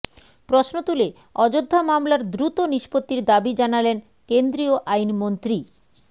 প্রশ্ন তুলে অযোধ্যা মামলার দ্রুত নিষ্পত্তির দাবি জানালেন কেন্দ্রীয় আইনমন্ত্রী